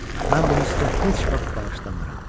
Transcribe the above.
Mən bunu sizə heç vaxt bağışlamaram.